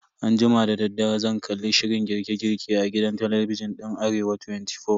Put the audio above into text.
Anjima dadaddare zan kalli shirin girke girke a gidan talabijin din Arewa 24.